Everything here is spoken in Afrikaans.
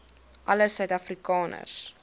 alle suid afrikaners